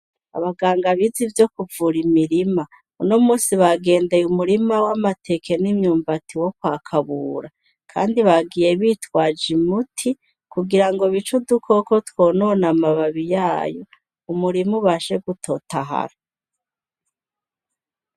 Abaganga bizi ivyo kuvura imirima uno musi bagendeye umurima w'amateke n'imyumbati wo kwa kabura, kandi bagiye bitwaje imuti kugira ngo bico dukoko twonona amababi yayo umurima bashe gutotahara.